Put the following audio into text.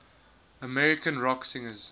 american rock singers